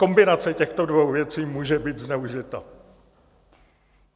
Kombinace těchto dvou věcí může být zneužita.